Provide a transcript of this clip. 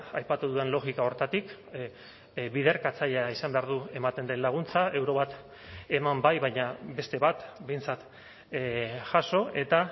aipatu dudan logika horretatik biderkatzailea izan behar du ematen den laguntza euro bat eman bai baina beste bat behintzat jaso eta